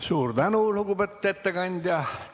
Suur tänu, lugupeetud ettekandja!